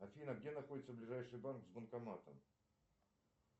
афина где находится ближайший банк с банкоматом